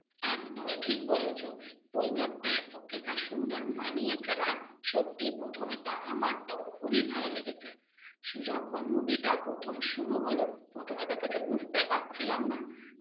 একদমই ঠিক বলেছ। বইটাতে, ওকে যা সুন্দর মানিয়েছে না, সত্যি প্রথমে তো আমার তো খুবই ভাল লেগেছে। সু~ যখন movie প্রথম শুরু হল, প্রথমে তো কিছু বুঝতেই পারছিলাম না।